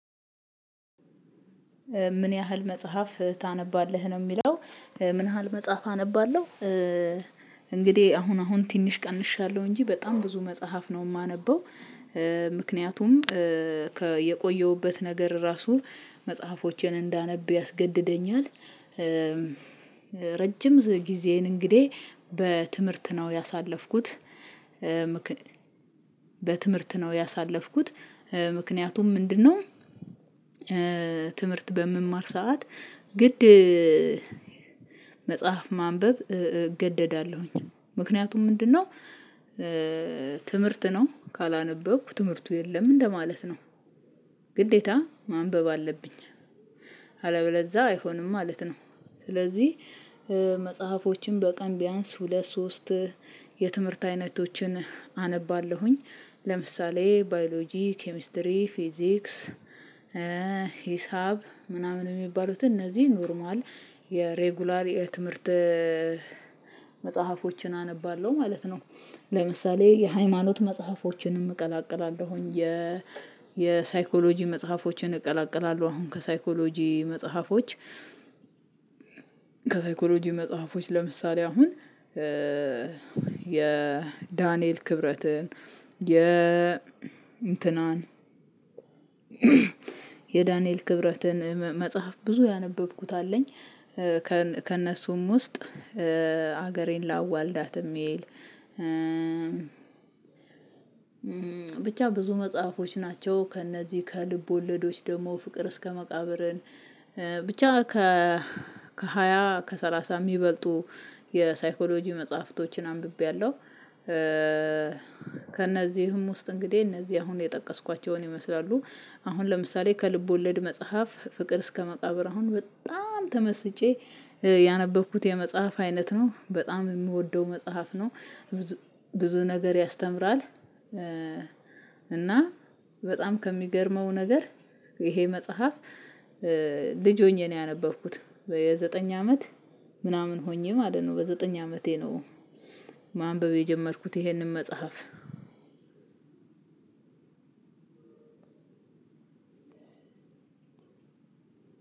ምን ያህል መጽሐፍ ታነባለህ? ነው የሚለው ምን ያህል መጽሐፍ አነባለሁ እንግዲህ አሁን አሁን ትንሽ ቀንሻለሁ እንጂ በጣም ብዙ መጽሐፍ ነው የማነበው ምክንያቱም የቆየሁበት ነገር ራሱ መጽሐፎቼን እንዳነብ ያስገድደኛል ረጅም ጊዜዬን እንግዲህ በትምህርት ነው ያሳለፍኩት በትምህርት ነው ያሳለፍኩት ምክንያቱም ምንድነው ትምህርት በምማር ሰዓት ግድ መጽሐፍ ማንበብ እገደዳለሁኝ ምክንያቱም ምንድነው ትምህርት ነው ካላነበኩ ትምህርቱ የለም እንደማለት ነው ግዴታ ማንበብ አለብኝ አለበለዛ አይሆንም ማለት ነው ስለዚህ መጽሐፎችን በቀን ቢያንስ ሁለት ሶስቴ የትምህርት አይነቶችን አነባለሁኝ ለምሳሌ ባዮሎጂ ኬሚስትሪ ፊዚክስ ሂሳብ ምናምን የሚባሉትን እነዚህ ኖርማል የሬጉላር የትምህርት መጽሐፎችን አነባለሁ ማለት ነው ለምሳሌ የሃይማኖት መጽሐፎችንም እቀላቅላለሁኝ የ የሳይኮሎጂ መጽሐፎችን እቀላቀላለሁ አሁን ከሳይኮሎጂ መጽሐፎች ከሳይኮሎጂ መጽሐፎች ለምሳሌ አሁን የዳንኤል ክብረትን የ እንትናን የዳንኤል ክብረትን መጽሐፍ ብዙ ያነበብኩት አለኝ ከእነሱም ውስጥ ሀገሬን ላዋልዳት የሚል ብቻ ብዙ መጽሐፎች ናቸው ከእነዚህ ከልብ ወለዶች ደግሞ ፍቅር እስከ መቃብርን ብቻ ከ ከሃያ ከሰላሳ የሚበልጡ የሳይኮሎጂ መጽሐፍቶችን አንብቤያለሁ ከእነዚህ ከእነዚህም ውስጥ እንግዲህ እነዚህ አሁን የጠቀስኳቸውን ይመስላሉ አሁን ለምሳሌ ከልብ ወለድ መጽሐፍ ፍቅር እስከ መቃብር አሁን በጣም ተመስጬ ያነበብኩት የመጽሐፍ አይነት ነው በጣም የምወደው መጽሐፍ ነው ብዙ ነገር ያስተምራል እና በጣም ከሚገርመው ነገር ይሄ መጽሐፍ ልጅ ሆኜ ነው ያነበብኩት የዘጠኝ አመት ምናምን ሆኜ ማለት ነው በዘጠኝ አመቴ ነው ማንበብ የጀመርኩት ይሄንን መጽሐፍ